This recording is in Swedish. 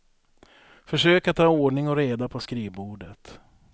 Försök att ha ordning och reda på skrivbordet.